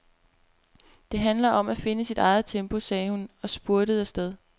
Det handler om at finde sit eget tempo, sagde hun og spurtede afsted.